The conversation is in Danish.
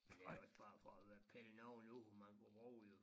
Er det jo ikke bare for at pille nogen ud man kunne bruge jo